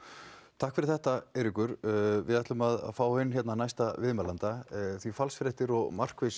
takk fyrir þetta Eiríkur við ætlum að fá inn hérna næsta viðmælanda falsfréttir og markviss